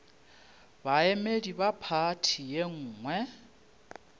baemedi ba phathi ye nngwe